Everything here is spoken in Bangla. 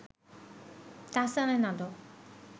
তাহসানের নাটক